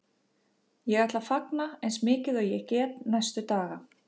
Ég ætla að fagna eins mikið og ég get næstu daga.